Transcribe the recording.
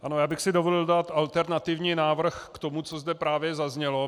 Ano, já bych si dovolil dát alternativní návrh k tomu, co zde právě zaznělo.